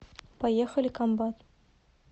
поехали комбат